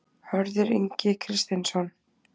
Hörður Ingi Kristinsson